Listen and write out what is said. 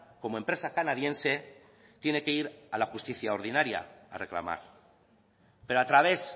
como empresa canadiense tiene que ir a la justicia ordinaria a reclamar pero a través